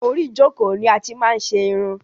Orí ìjọ́kọ̀ ni a ti máa n ṣe irun